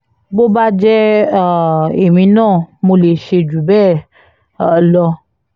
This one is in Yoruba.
bó bá jẹ́ um èmi náà mo lè ṣe jù bẹ́ẹ̀ um lọ